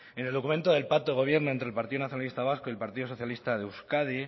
en el documento del pacto de gobierno entre el partido nacionalista vasco y el partido socialista de euskadi